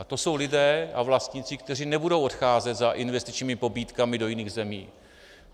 A to jsou lidé a vlastníci, kteří nebudou odcházet za investičními pobídkami do jiných zemí.